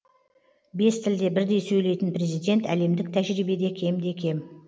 бес тілде бірдей сөйлейтін президент әлемдік тәжірибеде кемде кем